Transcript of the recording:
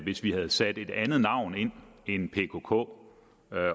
hvis vi havde sat et andet navn ind end pkk